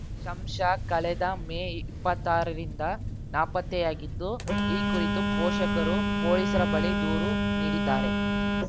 ಶಮ್ಷಾ ಕಳೆದ ಮೇ ಇಪ್ಪತ್ತಾರರಿಂದ ನಾಪತ್ತೆಯಾಗಿದ್ದು ಈ ಕುರಿತು ಪೋಷಕರು ಪೊಲೀಸರ ಬಳಿ ದೂರು ನೀಡಿದ್ದಾರೆ